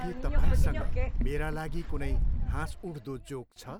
के तपाईसँग मेरा लागि कुनै हाँसउठ्दो जोक छ?